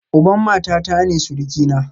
Uban matata ne surukina